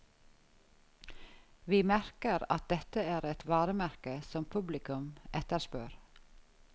Vi merker at dette er et varemerke som publikum etterspør.